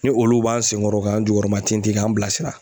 Ni olu b'an sen kɔrɔ k'an jukɔrɔma tintin k'an bilasira